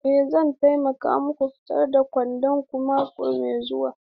Ee zan taimake ku fitar da kwandon ku mako mai zuwa.